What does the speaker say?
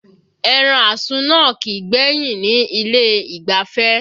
Ẹran àsun náà kìí gbẹ́yìn ni ilé ìgbafẹ́